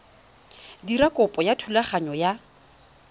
dira kopo ya thulaganyo ya